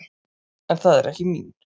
En það er ekki mín.